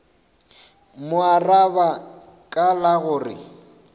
mo araba ka la gore